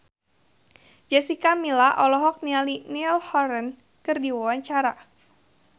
Jessica Milla olohok ningali Niall Horran keur diwawancara